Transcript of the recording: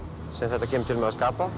þetta kemur til með að skapa